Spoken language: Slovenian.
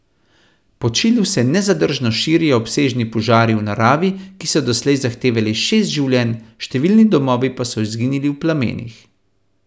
Po Čilu se nezadržno širijo obsežni požari v naravi, ki so doslej zahtevali šest življenj, številni domovi pa so izginili v plamenih.